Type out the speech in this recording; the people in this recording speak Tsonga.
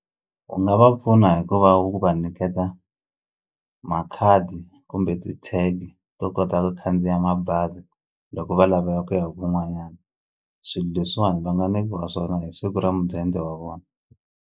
U nga va pfuna hi ku va u va nyiketa makhadi kumbe ti-tag to kota ku khandziya mabazi loko va lava ya ku ya kun'wanyani swilo leswiwani va nga nyikiwa swona hi siku ra mudende wa vona.